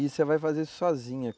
E você vai fazer isso sozinha.